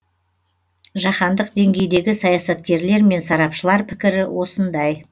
жаһандық деңгейдегі саясаткерлер мен сарапшылар пікірі осындай